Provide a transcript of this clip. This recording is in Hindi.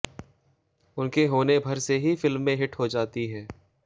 उनके होने भर से ही फिल्में हिट हो जाती हैं